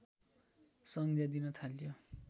सङ्ज्ञा दिन थालियो